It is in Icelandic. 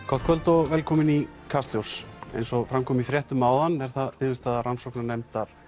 gott kvöld og velkomin í Kastljós eins og fram kom í fréttum áðan er það niðurstaða rannsóknarnefndar